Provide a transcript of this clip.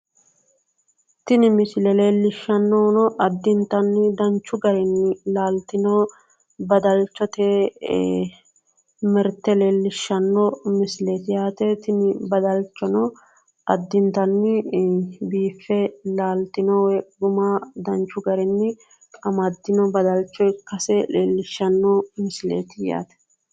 Tini misile leellishshannohuno addintanni danchu garinni laltino badalchote mirte leellishshanno misileeti tini badalachono addintanni biiffe laaltino woy guma danchu garinni amaddino badalcho ikkase leellishshanno misileeti yaate.